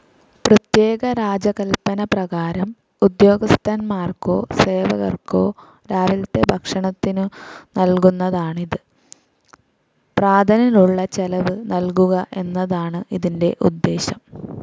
പ്രത്യേക രാജകല്പന പ്രകാരം ഉദ്യോഗസ്ഥന്മാർക്കോ സേവകർക്കോ രാവിലത്തെ ഭക്ഷണത്തിനു നൽകുന്നതാണിത്.പ്രാതലിനുള്ള ചെലവ് നൽകുക എന്നതാണ് ഇതിന്റെ ഉദ്ദേശം.